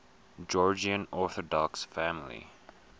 georgian orthodox family